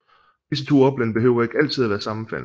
Disse to oplande behøver ikke altid at være sammenfaldende